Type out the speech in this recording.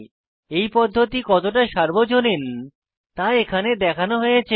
এই পদ্ধতি কতটা সার্বজনীন তা এখানে দেখানো হয়েছে